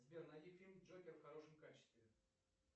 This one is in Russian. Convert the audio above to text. сбер найди фильм джокер в хорошем качестве